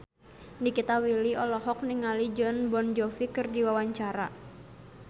Nikita Willy olohok ningali Jon Bon Jovi keur diwawancara